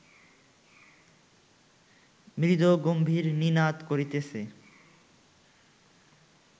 মৃদু গম্ভীর নিনাদ করিতেছে